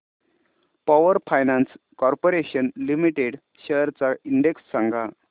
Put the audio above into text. power finance corporation limited shares चा index सांगा